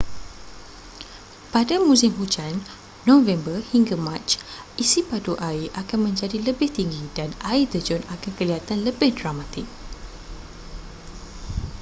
pada musim hujan november hingga mac isi padu air akan menjadi lebih tinggi dan air terjun akan kelihatan lebih dramatik